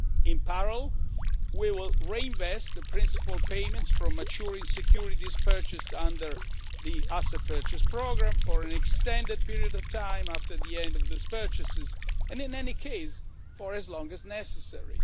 In parallel, we will reinvest the principal payments from maturing securities purchased under the asset purchase programme for an extended period of time after the end of those purchases, and in any case for as long as necessary.